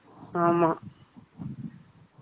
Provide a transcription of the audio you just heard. ஆமா.